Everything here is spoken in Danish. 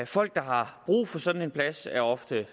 folk der har brug for sådan en plads er ofte